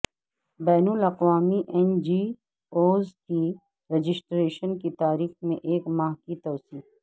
بین الاقوامی N G Os کی registration کی تاریخ میں ایک ماہ کی توسیع